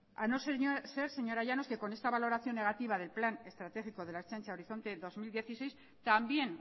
a no ser señora llanos que con esta valoración negativa del plan estratégico de la ertzaintza horizonte dos mil dieciséis también